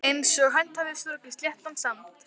Einsog hönd hafi strokið sléttan sand.